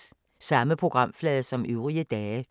Samme programflade som øvrige dage